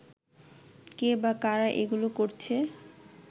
কে বা কারা এগুলো করছে